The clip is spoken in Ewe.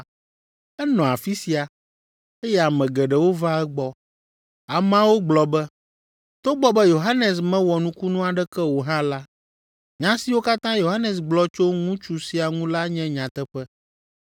Enɔ afi sia, eye ame geɖewo va egbɔ. Ameawo gblɔ be, “Togbɔ be Yohanes mewɔ nukunu aɖeke o hã la, nya siwo katã Yohanes gblɔ tso ŋutsu sia ŋu la nye nyateƒe.”